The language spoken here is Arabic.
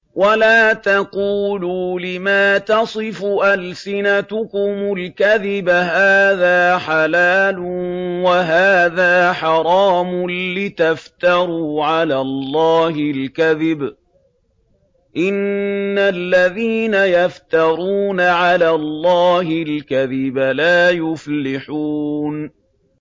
وَلَا تَقُولُوا لِمَا تَصِفُ أَلْسِنَتُكُمُ الْكَذِبَ هَٰذَا حَلَالٌ وَهَٰذَا حَرَامٌ لِّتَفْتَرُوا عَلَى اللَّهِ الْكَذِبَ ۚ إِنَّ الَّذِينَ يَفْتَرُونَ عَلَى اللَّهِ الْكَذِبَ لَا يُفْلِحُونَ